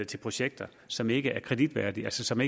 til projekter som ikke er kreditværdige og som